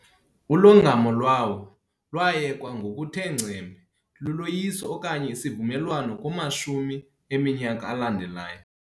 Ulongamo lwawo lwayekwa ngokuthe ngcembe luloyiso okanye isivumelwano kumashumi eminyaka alandelayo.